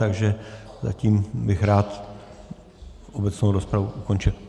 Takže já bych rád obecnou rozpravu ukončil.